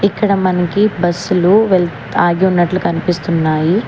ఇక్కడ మనకి బస్సులు వెల్ ఆగి ఉన్నట్లు కనిపిస్తున్నాయి.